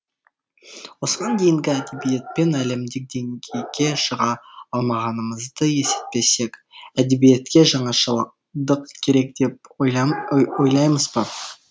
осыған дейінгі әдебиетпен әлемдік деңгейге шыға алмағанымызды есептесек әдебиетке жаңашылдық керек деп ойламайсыз ба